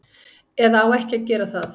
Eða á ekki að gera það.